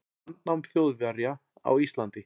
landnám Þjóðverja á Íslandi.